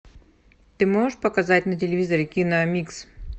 ты можешь показать на телевизоре киномикс